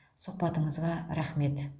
сұхбатыңызға рақмет